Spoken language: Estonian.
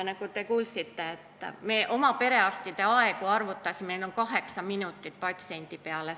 Nagu te kuulsite, me arvutasime oma perearstide vastuvõtuaegu ja meil on see keskmiselt kaheksa minutit patsiendi peale.